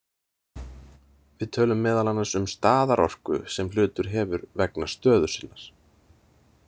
Við tölum meðal annars um staðarorku sem hlutur hefur vegna stöðu sinnar.